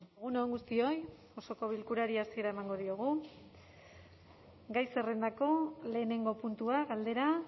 egun on guztioi osoko bilkurari hasiera emango diogu gai zerrendako lehenengo puntua galdera